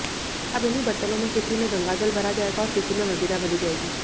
अब इन्हीं बरतनों में किसी में गंगाजल भरा जाएगा और किसी में मदिरा भरी जाएगी